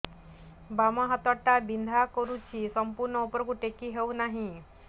ବାମ ହାତ ଟା ବିନ୍ଧା କରୁଛି ସମ୍ପୂର୍ଣ ଉପରକୁ ଟେକି ହୋଉନାହିଁ